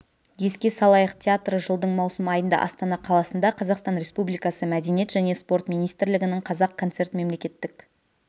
еске салайық театры жылдың маусым айында астана қаласында қазақстан республикасы мәдениет және спорт министрлігінің қазақ концерт мемлекеттік